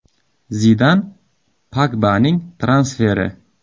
Zidan: Pogbaning transferi?